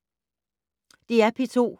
DR P2